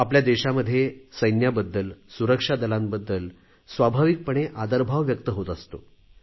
आपल्या देशामध्ये सैन्याबद्दल सुरक्षा दलांबद्दल स्वाभाविकपणे आदरभाव व्यक्त होत असतो